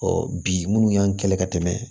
Ɔ bi munnu y'an kɛlɛ ka tɛmɛ